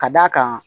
Ka d'a kan